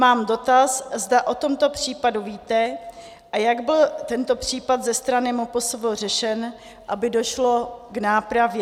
Mám dotaz, zda o tomto případu víte a jak byl tento případ ze strany MPSV řešen, aby došlo k nápravě.